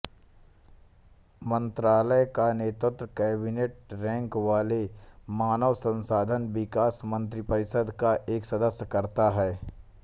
मंत्रालय का नेतृत्व कैबिनेटरैंक वाले मानव संसाधन विकास मंत्रिपरिषद का एक सदस्य करता है